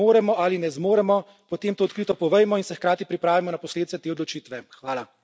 Če tega kot EU ne moremo ali ne zmoremo, potem to odkrito povejmo in se hkrati pripravimo na posledice te odločitve.